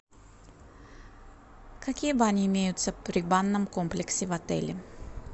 какие бани имеются при банном комплексе в отеле